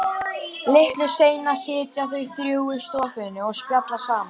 Litlu seinna sitja þau þrjú í stofunni og spjalla saman.